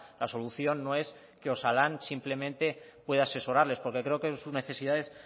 la solución no es que osalan simplemente pueda asesorarles porque creo sus necesidades